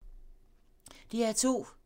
DR2